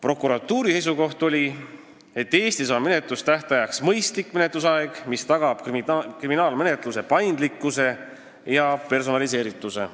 Prokuratuuri seisukoht oli, et Eestis on menetlustähtajaks mõistlik menetlusaeg, mis tagab kriminaalmenetluse paindlikkuse ja personaliseerituse.